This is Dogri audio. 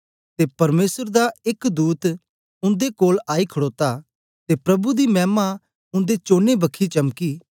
ते परमेसर दा एक दूत उन्दे कोल आई खडोता ते प्रभु दी मैमा उन्दे चौनी बखी चमकी ते ओ बड़े डरी गै